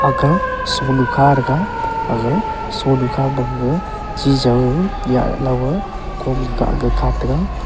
aga sungnu kha thaga aga sungnu khama gaga chijaw ou nyeh lawwa komga kah ka kataga.